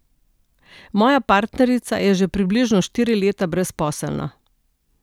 Moja partnerica je že približno štiri leta brezposelna.